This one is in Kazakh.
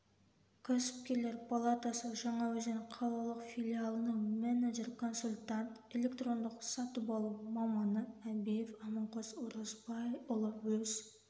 кәсіпкерлер палатасы жаңаөзен қалалық филиалының менеджер консультант электрондық сатып алу маманы әбиев аманқос оразбайұлы өз